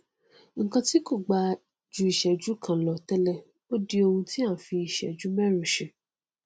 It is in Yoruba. nnkan tí kò gbà ju ìsẹjú kan lọ tẹlẹ ó di oun tí a n fi ìsẹjú mẹrin ṣe